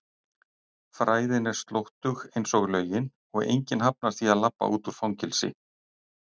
fræðin er slóttug einsog lögin og enginn hafnar því að labba út úr fangelsi.